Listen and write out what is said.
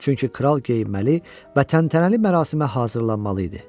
Çünki kral geyinməli və təntənəli mərasimə hazırlanmalı idi.